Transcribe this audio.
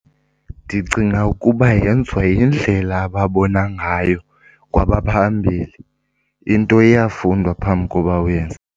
Ndicinga ukuba yenziwa yindlela ababona ngayo kwabaphambili. Into iyafundwa phambi koba uyenze.